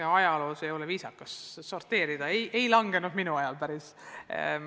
Ega ajaloos ei ole viisakas sorteerida, aga siiski, see raha ei vähenenud minu ministriks olemise ajal.